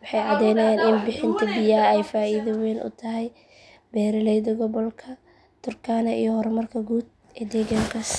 waxay caddeynayaan in bixinta biyaha ay faa’iido weyn u tahay beeraleyda gobolka turkana iyo horumarka guud ee deegaankaas.